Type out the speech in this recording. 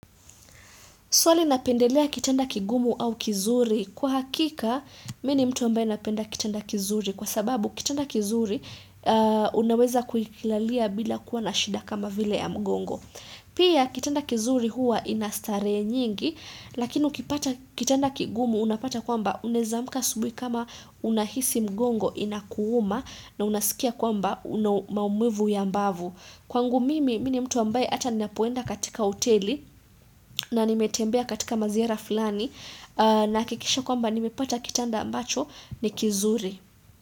Swali napendelea kitanda kigumu au kizuri? Kwa hakika, mimi ni mtu ambaye napenda kitanda kizuri. Kwa sababu, kitanda kizuri unaweza kukilalia bila kuwa na shida kama vile ya mgongo. Pia, kitanda kizuri huwa inastarehe nyingi. Lakini ukipata kitanda kigumu unapata kwamba unaweza amka asubuhi kama unahisi mgongo inakuuma na unasikia kwamba unamaumivu ya mbavu. Kwangu mimi, mimi ni mtu ambaye hata ninapoenda katika hoteli na nimetembea katika maziara fulani. Nahakikisha kwamba nimepata kitanda ambacho ni kizuri.